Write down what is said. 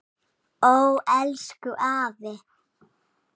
Ó elsku afi.